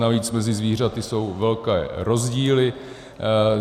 Navíc mezi zvířaty jsou velké rozdíly.